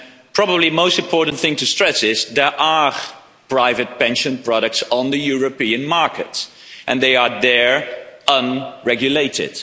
Probably the most important thing to stress is that there are private pension products on the European markets and they are unregulated.